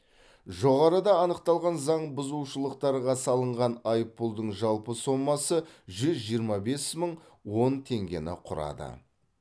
жоғарыда анықталған заң бұзушылықтарға салынған айыппұлдың жалпы сомасы жүз жиырма бес мың он теңгені құрады